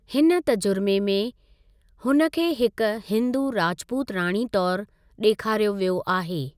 हिन तर्जुमे में, हुनखे हिक हिन्‍दू राजपूत राणी तौर ॾेखारियो वियो आहे।